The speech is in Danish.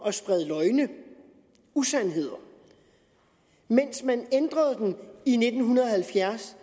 at sprede løgne usandheder mens man i nitten halvfjerds